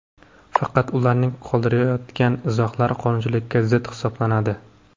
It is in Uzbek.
Faqat ularning qoldirayotgan izohlari qonunchilikka zid hisoblanadi.